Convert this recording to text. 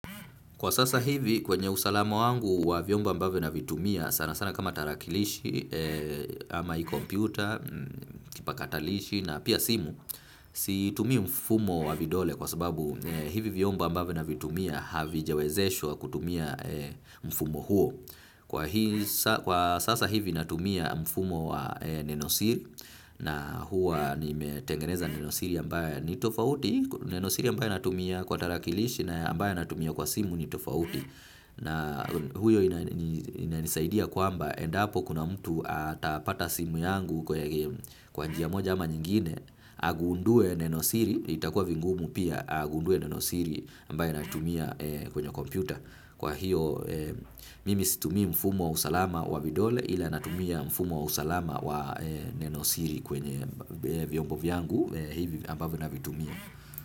Kwa sasa hivi kwenye usalama wangu wa vyombo ambavyo navitumia sana sana kama tarakilishi ama hii computer, kipakatalishi na pia simu, situmii mfumo wa vidole kwa sababu hivi vyombo ambavyo navitumia havijawezeshwa kutumia mfumo huo. Kwa sasa hivi natumia mfumo wa nenosiri na huwa nimetengeneza nenosiri ambayo ni tofauti, nenosiri ambayo natumia kwa tarakilishi na ambayo natumia kwa simu ni tofauti. Na huyo inanisaidia kwamba endapo kuna mtu atapata simu yangu kwa njia moja ama nyingine agundue nenosiri, itakuwa vigumu pia agundue nenosiri ambayo natumia kwenye kompyuta. Kwa hiyo, mimi situmii mfumo wa usalama wa vidole ila natumia mfumo wa usalama wa nenosiri kwenye vyombo vyangu, hivi ambavyo navitumia.